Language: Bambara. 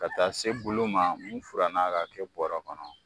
Ka taa se bulu ma mun furan na ka kɛ bɔrɔ kɔnɔ.